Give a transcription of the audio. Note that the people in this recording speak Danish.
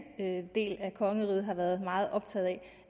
del af kongeriget har været meget optaget